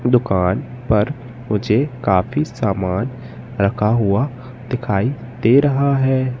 दुकान पर मुझे काफी सामान रखा हुआ दिखाई दे रहा है।